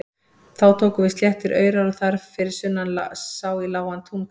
Þá tóku við sléttir aurar og þar fyrir sunnan sá í lágan túngarð.